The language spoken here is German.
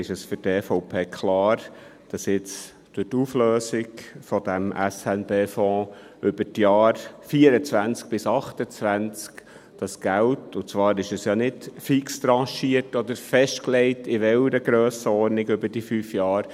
Deshalb ist es für die EVP klar, dass jetzt durch die Auflösung dieses SNB-Fonds über die Jahre 2024 bis 2028 die Regierung dieses Geld zurückfliessen lassen und für die Investitionen brauchen soll, und zwar ist es ja nicht fix tranchiert oder festgelegt, in welcher Grössenordnung über diese fünf Jahre.